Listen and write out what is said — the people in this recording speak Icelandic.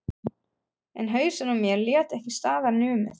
En hausinn á mér lét ekki staðar numið.